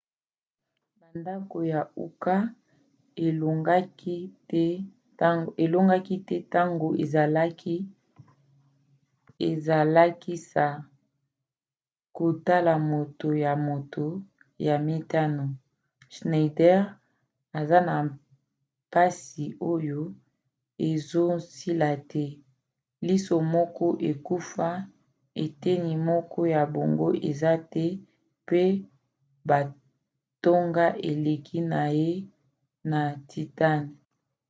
mandako ya uka elongaki te ntango ezalakisa kotala moto ya moto ya mitano. schneider aza na mpasi oyo ezosila te liso moko ekufa eteni moko ya boongo eza te mpe batonga elongi na ye na titane